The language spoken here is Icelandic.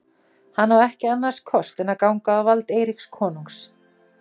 Hann á ekki annars kost en ganga á vald Eiríks konungs.